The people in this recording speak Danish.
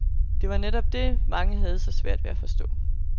Det er netop det, mange har så svært ved at forstå.